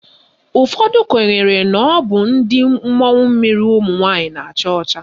Ụfọdụ kwenyere na ọ bụ ndị mmụọ mmiri ụmụnwaanyị na-acha ọcha.